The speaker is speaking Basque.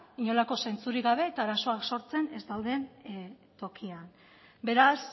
inolako zentzurik gabe eta arazoak sortzen ez dauden tokian beraz